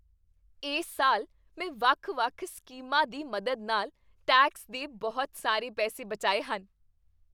ਇਸ ਸਾਲ ਮੈਂ ਵੱਖ ਵੱਖ ਸਕੀਮਾਂ ਦੀ ਮਦਦ ਨਾਲ ਟੈਕਸ ਦੇ ਬਹੁਤ ਸਾਰੇ ਪੈਸੇ ਬਚਾਏ ਹਨ